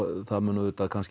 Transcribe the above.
það mun